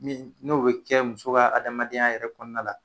Ni n'o be kɛ muso ka adamadenya yɛrɛ kɔnɔna la.